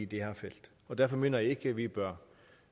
her felt og derfor mener jeg ikke vi bør